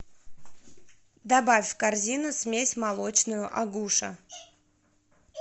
добавь в корзину смесь молочную агуша